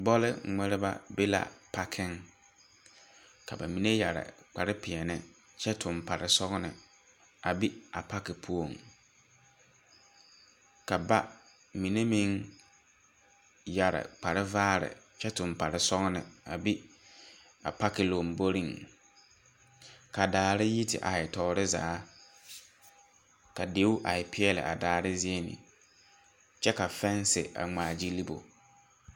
Bɔle ŋmereba be la a pakeŋ ka ba mine yɛre kpare peɛne kyɛ toŋ pare sɔgene a bi a pake puoŋ. Ka ba mine meŋ yɛre kpre vaare ky toŋ pare sɔgene a bi apake lomboriŋ . ka dare yi tea he tɔɔre zaa. Ka deu ahe peɛle a dare zie ni, kyɛ ka fɛnse a ŋmaa gyili bo.